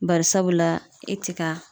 Bari sabula e ti ka